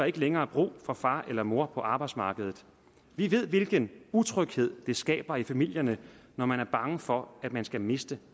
ikke længere brug for far eller mor på arbejdsmarkedet vi ved hvilken utryghed det skaber i familierne når man er bange for at man skal miste